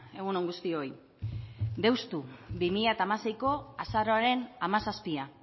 egun on guztioi deustu bi mila hamaseiko azaroaren hamazazpia